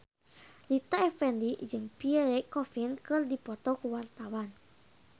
Rita Effendy jeung Pierre Coffin keur dipoto ku wartawan